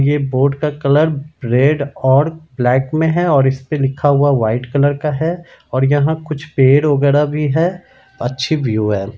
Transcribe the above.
ये बोर्ड का colour red और ब्लैक में है और इसपे लिखा हुआ व्हाइट कलर का है और यहाँ कुछ पेड़ वगैरा भी है अच्छी व्यू है।